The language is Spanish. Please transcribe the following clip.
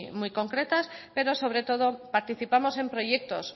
muy concretas pero sobre todo participamos en proyectos